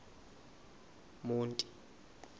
monti